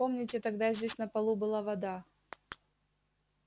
помните тогда здесь на полу была вода